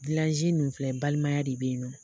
ninnu filɛ balimaya de be yen nɔ.